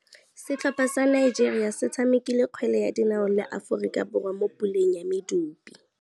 Setlhopha sa Nigeria se tshamekile kgwele ya dinaô le Aforika Borwa mo puleng ya medupe.